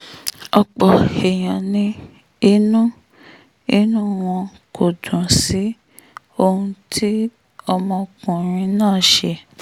ọ̀pọ̀ èèyàn ni inú inú wọn kò dùn sí ohun tí ọmọkùnrin náà ṣe